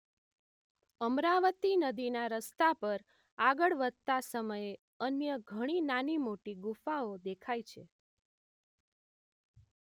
અમરાવતી નદીના રસ્તા પર આગળ વધતા સમયે અન્ય ઘણી નાની-મોટી ગુફાઓ દેખાય છે